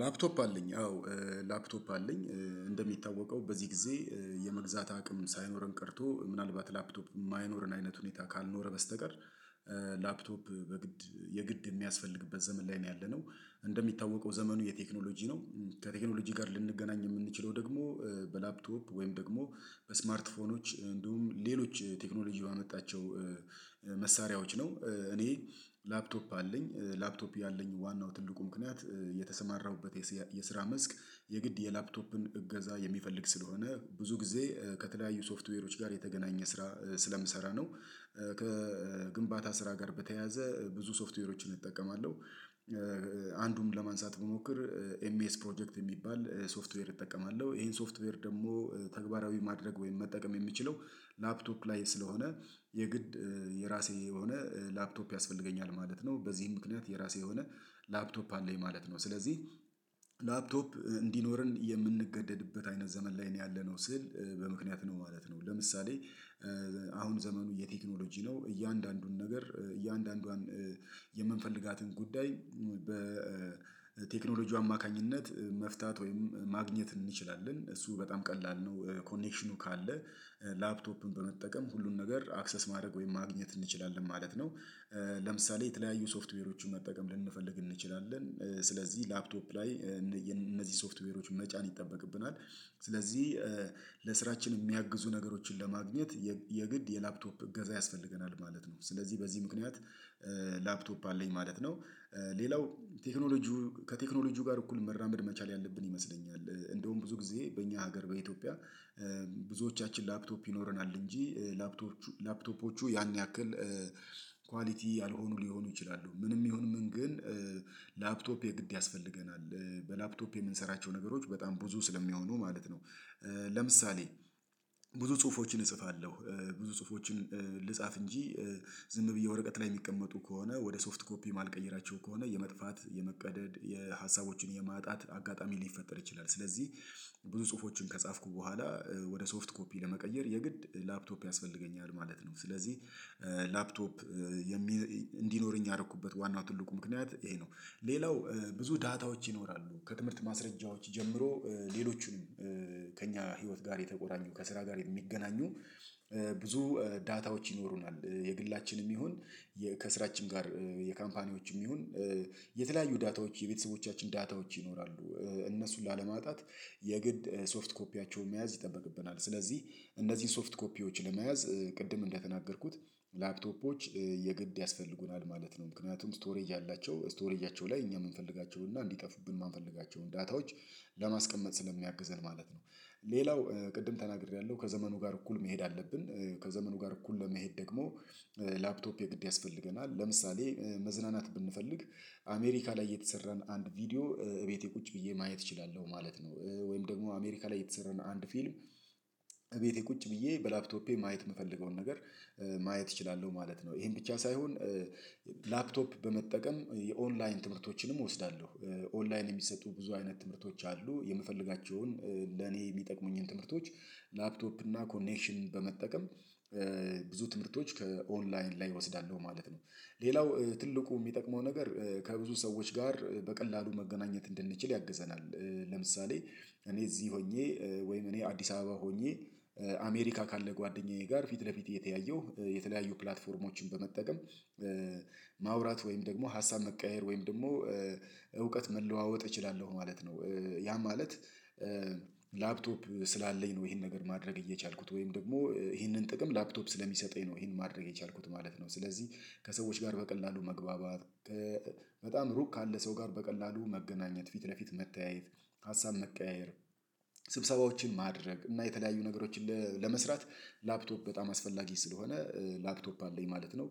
ላፕቶፕ አለኝ። አዎ ላፕቶፕ አለኝ። እንደሚታወቀው በዚህ ጊዜ የመግዛት አቅም ሳይኖረን ቀርቶ ምናልባት ላፕቶፕ የማይኖረን አይነት ሁኔታ ካልኖረ በስተቀር ላፕቶፕ በግድ የግድ የሚያስፈልግበት ዘመን ላይ ነው ያለነው። እንደሚታወቀው ዘመኑ የቴክኖሎጂ ነው። ከቴክኖሎጂ ጋር ልንገናኝ የምንችለው ደግሞ በላፕቶፕ ወይም ደግሞ በ'ስማርት ፎኖች' እንዲሁም ሌሎች ቴክኖሎጂው ባመጣቸው መሳሪያዎች ነው። እኔ ላፕቶፕ አለኝ። ላፕቶፕ ያለኝ ዋናው ትልቁ ምክንያት የተሰማራሁበት የስራ መስክ የግድ የላፕቶፕን እገዛ የሚፈልግ ስለሆነ ብዙ ጊዜ ከተለያዩ ሶፍትዌሮች ጋር የተገናኘ ስራ ስለምሰራ ነው። ከግንባታ ስራ ጋር በተያያዘ ብዙ ሶፍትዌሮችን እጠቀማለሁ። አንዱን ለማንሳት ብሞክር ኤምኤስ ፕሮጀክት የሚባል ሶፍትዌር እጠቀማለሁ። ይሄን ሶፍትዌር ደግሞ ተግባራዊ ማድረግ ወይም መጠቀም የምችለው ላፕቶፕ ላይ ስለሆነ የግድ የራሴ የሆነ ላፕቶፕ ያስፈልገኛል ማለት ነው። በዚህም ምክንያት የራሴ የሆነ ላፕቶፕ አለኝ ማለት ነው። ስለዚህ ላፕቶፕ እንዲኖረን የምንገደድበት አይነት ዘመን ላይ ነው ያለነው ስል በምክንያት ነው ማለት ነው። ለምሳሌ አሁን ዘመኑ የቴክኖሎጂ ነው። እያንዳንዱን ነገር እያንዳንዷን የምንፈልጋትን ጉዳይ በቴክኖሎጂው አማካኝነት መፍታት ወይም ማግኘት እንችላለን። እሱ በጣም ቀላል ነው 'ኮኔክሽኑ' ካለ ላፕቶፕን በመጠቀም ሁሉን ነገር አክሰስ ማድረግ ወይም ማግኘት እንችላለን ማለት ነው። ለምሳሌ የተለያዩ ሶፍትዌሮችን መጠቀም ልንፈልግ እንችላለን። ስለዚህ ላፕቶፕ ላይ እነዚህ ሶፍትዌሮችን መጫን ይጠበቅብናል። ስለዚህ ለስራችን የሚያግዙ ነገሮችን ለማግኘት የግድ የላፕቶፕ እገዛ ያስፈልገናል ማለት ነው። ስለዚህ በዚህ ምክንያት ላፕቶፕ አለኝ ማለት ነው። ሌላው ቴክኖሎጂው ከቴክኖሎጂው ጋር እኩል መራመድ መቻል ያለብን ይመስለኛል። እንደውም ብዙ ጊዜ በእኛ ሀገር በኢትዮጵያ ብዙዎቻችን ላፕቶፕ ይኖረናል እንጂ ላፕቶፕ ላፕቶፖቹ ያን ያክል 'ኳሊቲ' ያልሆኑ ሊሆኑ ይችላሉ። ምንም ይሁን ምን ግን ላፕቶፕ የግድ ያስፈልገናል። በላፕቶፕ የምንሰራቸው ነገሮች በጣም ብዙ ስለሚሆኑ ማለት ነው። ለምሳሌ ብዙ ጽሁፎችን እጽፋለሁ ብዙ ጽሁፎችን ልጻፍ እንጂ ዝም ብዬ ወረቀት ላይ የሚቀመጡ ከሆነ ወደ ሶፍት ኮፒ ማልቀይራቸው ከሆነ የመጥፋት፣ የመቀደድ፣ የሀሳቦችን የማጣት፣ አጋጣሚ ሊፈጠር ይችላል። ስለዚህ ብዙ ጽሁፎችን ከጻፍኩ በኋላ ወደ ሶፍት ኮፒ ለመቀየር የግድ ላፕቶፕ ያስፈልገኛል ማለት ነው። ስለዚህ ላፕቶፕ እንዲኖረኝ ያደረኩበት ዋናው ትልቁ ምክንያት ይሄ ነው። ሌላው ብዙ ዳታዎች ይኖራሉ ከትምህርት ማስረጃዎች ጀምሮ ሌሎቹንም ከእኛ ህይወት ጋር የተቆራኙ ከስራ ጋር የሚገናኙ ብዙ 'ዳታዎች' ይኖሩናል የግላችንም ይሁን ከስራችን ጋር የ'ካምፓኒዎችም' ይሁን የተለያዩ 'ዳታዎች' የቤተሰቦቻችን 'ዳታዎች' ይኖራሉ። እነሱን ላለማጣት የግድ ሶፍት 'ኮፒያቸውን' መያዝ ይጠበቅብናል። ስለዚህ እነዚህ ሶፍት 'ኮፒዎችን' ለመያዝ ቅድም እንደተናገርኩት ላፕቶፖች የግድ ያስፈልጉናል ማለት ነው። ምክንያቱም 'ስቶሬጅ' ያላቸው 'ስቶሬጃቸው' ላይ እኛ የምንፈልጋቸውን እና እንዲጠፉብን የማንፈልጋቸውን 'ዳታዎች' ለማስቀመጥ ስለሚያግዘን ማለት ነው። ሌላው ቅድም ተናግሬያለሁ። ከዘመኑ ጋር እኩል መሄድ አለብን ከዘመኑ ጋር እኩል ለመሄድ ደግሞ ላፕቶፕ የግድ ያስፈልገናል። ለምሳሌ መዝናናት ብንፈልግ አሜሪካ ላይ የተሰራን አንድ ቪዲዮ እቤቴ ቁጭ ብዬ ማየት እችላለሁ ማለት ነው። ወይም ደግሞ አሜሪካ ላይ የተሰራን አንድ ፊልም እቤቴ ቁጭ ብዬ በላፕቶፔ ማየት የምፈልገውን ነገር ማየት እችላለሁ ማለት ነው። ይሄን ብቻ ሳይሆን ላፕቶፕ በመጠቀም የኦንላይን ትምህርቶችንም እወስዳለሁ ኦንላይን የሚሰጡ ብዙ አይነት ትምህርቶች አሉ። የምፈልጋቸውን ለኔ የሚጠቅሙኝን ትምህርቶች ላፕቶፕ እና 'ኮኔክሽን' በመጠቀም ብዙ ትምህርቶች ከኦንላይን ላይ እወስዳለሁ ማለት ነው። ሌላው ትልቁ የሚጠቅመው ነገር ከብዙ ሰዎች ጋር በቀላሉ መገናኘት እንድንችል ያግዘናል። ለምሳሌ እኔ እዚህ ሆኜ ወይም እኔ አዲስ አበባ ሆኜ አሜሪካ ካለ ጓደኛዬ ጋር ፊት ለፊት እየተያየሁ የተለያዩ 'ፕላትፎርሞችን' በመጠቀም ወይም ደግሞ ሀሳብ መቀያየር ወይም ደግሞ እውቀት መለዋወጥ እችላለሁ ማለት ነው። ያ ማለት ላፕቶፕ ስላለኝ ነው ይሄን ነገር ማድረግ የቻልኩት ወይም ደግሞ ይሄንን ጥቅም ላፕቶፕ ስለሚሰጠኝ ነው ይሄን ማድረግ የቻልኩት ማለት ነው። ስለዚህ ከሰዎች ጋር በቀላሉ መግባባት በጣም ሩቅ ካለ ሰው ጋር በቀላሉ መገናኘት ፊት ለፊት መተያየት ሀሳብ መቀያየር ስብሰባዎችን ማድረግ እና የተለያዩ ነገሮችን ለመስራት ላፕቶፕ በጣም አስፈላጊ ስለሆነ ላፕቶፕ አለኝ ማለት ነው።